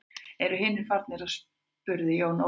Eru hinir farnir spurði Jón Ólafur.